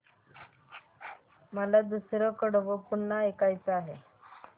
मला दुसरं कडवं पुन्हा ऐकायचं आहे